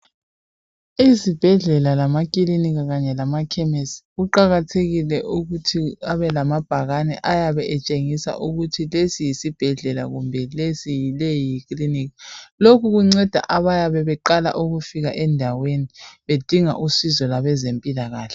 Ezibhedlela lamakilinika kanye lamakhemesisi kuqakathekile ukuthi abe lamabhakane ayabe etshengisa ukuthi lesi yisibhedlela kumbe leyi yiklinika lokhu kunceda abayabe beqala ukufika endaweni bedinga usizo lwempilakahle.